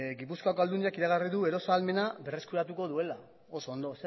gipuzkoako aldundiak iragarri du erosmen ahalmena berreskuratuko duela oso ondo